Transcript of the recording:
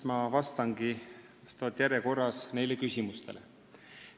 Ma vastangi nüüd järjekorras neile küsimustele.